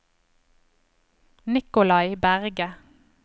Nicolai Berge